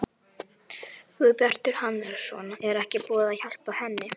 Guðbjartur Hannesson: Er ekkert búið að hjálpa henni?